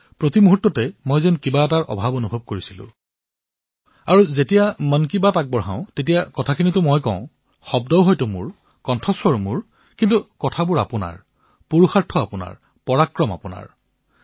মই প্ৰতি পলে কিবা হেৰুৱাইছিলো আৰু যেতিয়াই মই মন কী বাত কৰো তেতিয়া কথা মই কলেও শব্দ মোৰ হলেও কথা আপোনালোকৰহে পুৰুষাৰ্থ আপোনালোকৰহে পৰাক্ৰম আপোনালোকৰহে